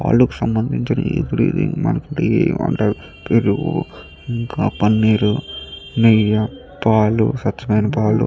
పాలకు సంబంధించినవి పెరుగు పన్నీరు నెయ్యి పాలు స్వచ్ఛమైన పాలు --